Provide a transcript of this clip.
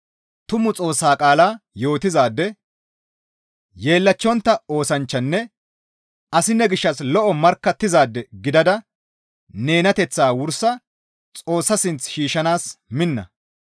Tumu Xoossaa qaala yootizaade, yeellachchontta oosanchchanne asi ne gishshas lo7o markkattizaade gidada nenateththaa wursa Xoossa sinth shiishshanaas minna.